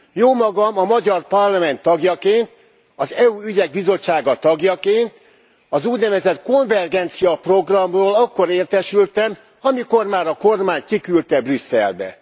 Jómagam a magyar Parlament tagjaként, az EU ügyek bizottsága tagjaként az úgynevezett konvergenciaprogramról akkor értesültem, amikor már a kormány kiküldte Brüsszelbe.